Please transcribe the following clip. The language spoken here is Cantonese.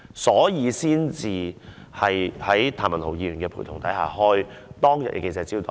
所以，她在譚文豪議員陪同下，召開當天的記者招待會。